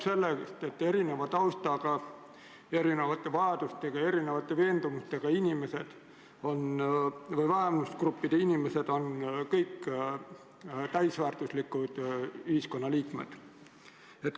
Selle sõnum on, et erineva taustaga, erinevate vajadustega ja erinevate veendumustega inimesed, sealhulgas vähemusgruppidesse kuuluvad inimesed, on kõik täisväärtuslikud ühiskonnaliikmed.